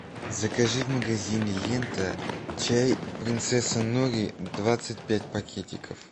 закажи в магазине лента чай принцесса нури двадцать пять пакетиков